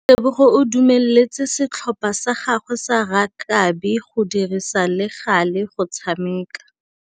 Tebogô o dumeletse setlhopha sa gagwe sa rakabi go dirisa le galê go tshameka.